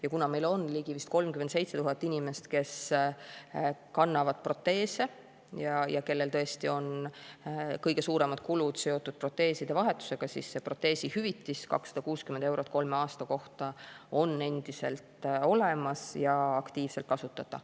Ja kuna meil on ligi 37 000 inimest, kes kannavad proteese ja kellel tõesti on kõige suuremad kulud seotud proteeside vahetusega, siis proteesihüvitis 260 eurot kolme aasta kohta on endiselt olemas ja aktiivselt kasutatav.